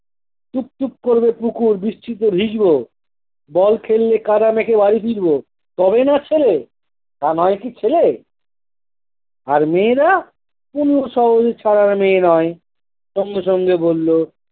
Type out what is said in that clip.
টুপ্ টুপ করবে পুকুর, বৃষ্টিতে ভিজব। ball খেললে কাঁদা মেখে বাড়ি ফিরব, তবেই না ছেলে, তা নয় কি ছেলে? আর মেয়েরা কোন মেয়ে নয়। সঙ্গে সঙ্গে বললো